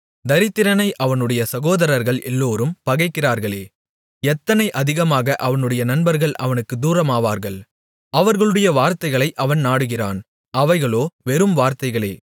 தரித்திரனை அவனுடைய சகோதரர்கள் எல்லோரும் பகைக்கிறார்களே எத்தனை அதிகமாக அவனுடைய நண்பர்கள் அவனுக்குத் தூரமாவார்கள் அவர்களுடைய வார்த்தைகளை அவன் நாடுகிறான் அவைகளோ வெறும் வார்த்தைகளே